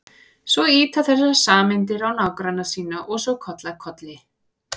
Svo ýta þessar sameindir á nágranna sína og svo koll af kolli.